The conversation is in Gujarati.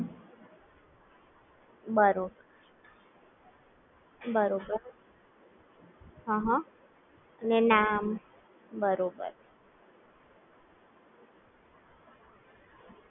બરાબર Paytm માં કાઈ શું થતા નથી કારણ કે મારા ફ્રેન્ડ લોકોએ બે ત્રણ વાર કીધેલું છે કે paytm માં બહુ ઈસ્યુ થાય છે transaction ના ને બધા?